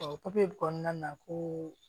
papiye kɔnɔna na ko